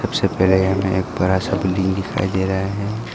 सबसे पहले हमें एक बड़ा सा बिल्डिंग दिखाई दे रहा है।